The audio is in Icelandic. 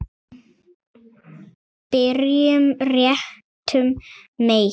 Byrjum réttum megin.